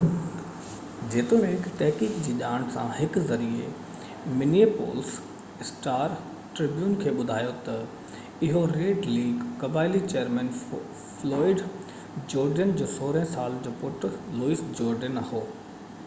جيتوڻيڪ تحقيق جي ڄاڻ سان هڪ ذريعي منيئيپولس اسٽار-ٽربيون کي ٻڌايو ته اهو ريڊ ليڪ قبائلي چيئرمين فلوئڊ جورڊين جو 16 سالن جو پٽ لوئس جورڊين هو